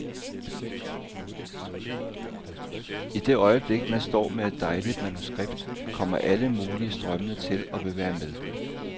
I det øjeblik man står med et dejligt manuskript, kommer alle mulige strømmende til og vil være med.